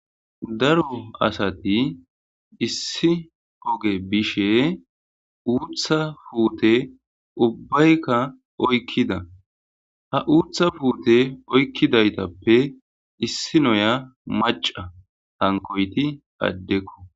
Daro asati issi oge bishe uutha puuteubbaykka oykkida. Ha uutha puute oykidaytappe issi nayiya macca. Hankkoyti addekko.